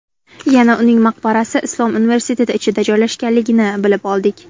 Yana uning maqbarasi Islom universiteti ichida joylashganligini bilib oldik.